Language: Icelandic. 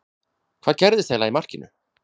Hvað gerðist eiginlega í markinu?